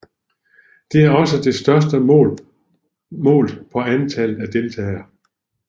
Det er også det største målt på antallet af deltagere